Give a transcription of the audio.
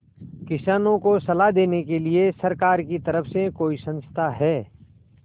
किसानों को सलाह देने के लिए सरकार की तरफ से कोई संस्था है